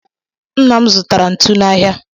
Nna m zụtara ntu n'ahịa.